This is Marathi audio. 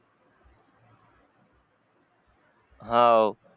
हाऊ